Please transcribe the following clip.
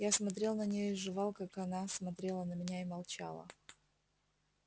я смотрел на неё и жевал как она смотрела на меня и молчала